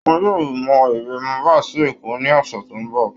Wọ́n yóò mọ ere Mohbad sí Èkò ní ọ̀sẹ̀ tó ń bọ̀